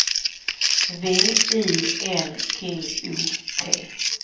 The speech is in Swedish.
V I L G O T